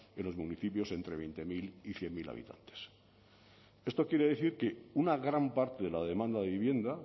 en los municipios entre veinte mil y cien mil habitantes esto quiere decir que una gran parte de la demanda de vivienda